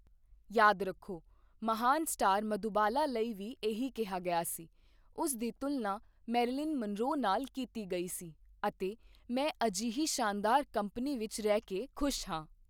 ਯਾਦ ਰੱਖੋ, ਮਹਾਨ ਸਟਾਰ ਮਧੁਬਾਲਾ ਲਈ ਵੀ ਇਹੀ ਕਿਹਾ ਗਿਆ ਸੀ, ਉਸ ਦੀ ਤੁਲਨਾ ਮੈਰਿਲਿਨ ਮਨਰੋ ਨਾਲ ਕੀਤੀ ਗਈ ਸੀ, ਅਤੇ ਮੈਂ ਅਜਿਹੀ ਸ਼ਾਨਦਾਰ ਕੰਪਨੀ ਵਿੱਚ ਰਹਿ ਕੇ ਖੁਸ਼ ਹਾਂ!